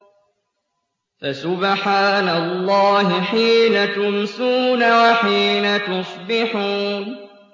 فَسُبْحَانَ اللَّهِ حِينَ تُمْسُونَ وَحِينَ تُصْبِحُونَ